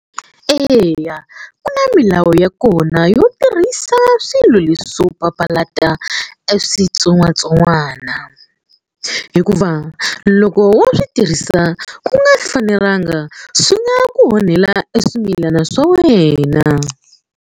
Eya ku na milawu ya kona yo tirhisa swilo leswo papalata eswitsongwatsongwana hikuva loko wo swi tirhisa ku nga fanelanga swi nga ku onhela eswimilana swa wena.